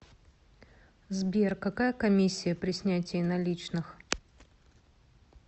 сбер какая коммисия при снятии наличных